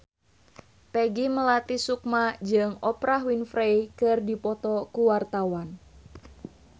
Peggy Melati Sukma jeung Oprah Winfrey keur dipoto ku wartawan